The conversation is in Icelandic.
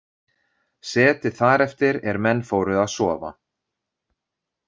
Setið þar eftir er menn fóru að sofa.